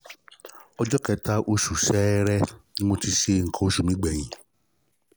ọjọ́ kẹta oṣù ṣẹẹrẹ ni mo ti ṣe nǹkan oṣù mi gbẹ̀yìn